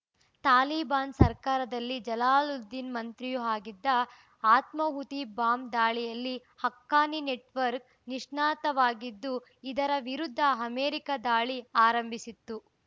ತಾಲಿಬಾನ್‌ ಸರ್ಕಾರದಲ್ಲಿ ಜಲಾಲುದ್ದೀನ್‌ ಮಂತ್ರಿಯೂ ಆಗಿದ್ದ ಆತ್ಮಾಹುತಿ ಬಾಂಬ್‌ ದಾಳಿಯಲ್ಲಿ ಹಕ್ಕಾನಿ ನೆಟ್‌ವರ್ಕ್ ನಿಷ್ಣಾತವಾಗಿದ್ದು ಇದರ ವಿರುದ್ಧ ಅಮೆರಿಕ ದಾಳಿ ಆರಂಭಿಸಿತ್ತು